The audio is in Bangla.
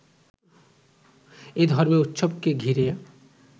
এ ধর্মীয় উৎসবকে ঘিরে